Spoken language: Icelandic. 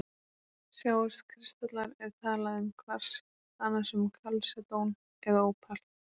Sjáist kristallar er talað um kvars, annars um kalsedón eða ópal.